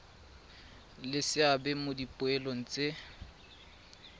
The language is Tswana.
le seabe mo dipoelong tse